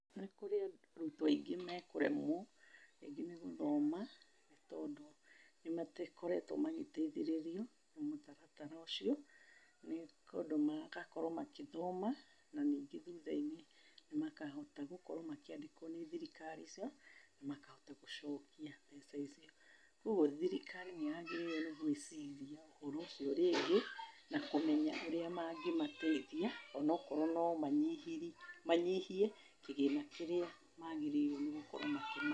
Nĩ kũrĩ arutwo aingĩ mekũremwo rĩngi nĩ gũthoma, tondũ nĩ makoretwo magĩteithĩrĩrrio nĩ mũtaratara ũcio nĩ ũndũ magakorwo magĩthoma. Na ningĩ thutha-inĩ nĩ makahota gũkorwo makĩandĩkowo nĩ thirikari icio, na makahota gũcokia mbeca icio. Ũguo thirikari nĩ yagĩrĩirwo nĩ gũĩciria ũhoro ũcio rĩngĩ na kũmenya ũrĩa mangĩmateithia onakorwo no manyihirie, manyihie kĩgĩna kĩrĩa magĩrĩirwo nĩ gũkorwo makĩmahe.